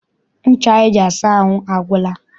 Ncha anyị ji asa ahụ agwụla.